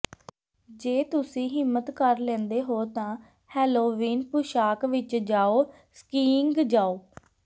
ਜੇ ਤੁਸੀਂ ਹਿੰਮਤ ਕਰ ਲੈਂਦੇ ਹੋ ਤਾਂ ਹੇਲੋਵੀਨ ਪੁਸ਼ਾਕ ਵਿੱਚ ਜਾਓ ਸਕੀਇੰਗ ਜਾਓ